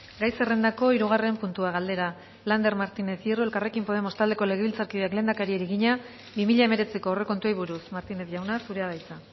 gai zerrendako hirugarren puntua galdera lander martinez hierro elkarrekin podemos taldeko legebiltzarkideak lehendakariari egina bi mila hemeretziko aurrekontuei buruz martinez jauna zurea da hitza